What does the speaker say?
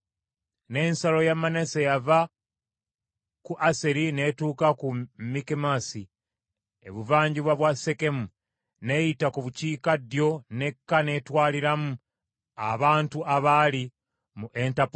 N’ensalo ya Manase yava ku Aseri n’etuuka ku Mikumesasi ebuvanjuba bwa Sekemu, n’eyita ku bukiikaddyo n’ekka n’etwaliramu abantu abaali mu Entappua.